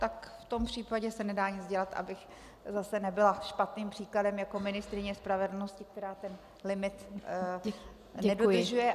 Tak v tom případě se nedá nic dělat, abych zase nebyla špatným příkladem jako ministryně spravedlnosti, která ten limit nedodržuje.